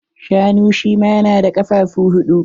Shanu shi ma na da kafafu huɗu.